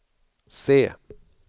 se